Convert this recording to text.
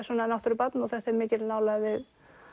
náttúrubarn og þetta er mikil nálægð við